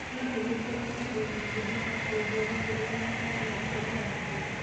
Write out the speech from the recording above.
Hihi nĩ kũrĩ mũndũ ũngĩhota kũnjĩra kĩrĩa mũraria ũhoro wakĩo?